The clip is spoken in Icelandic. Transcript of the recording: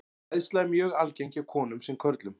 Hræðsla er mjög algeng hjá konum sem körlum.